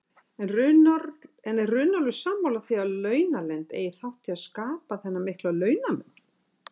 En er Runólfur sammála því að launaleynd eigi þátt í að skapa þennan mikla launamun?